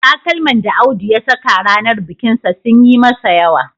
Takalman da Audu ya saka ranar bikinsa sun yi masa yawa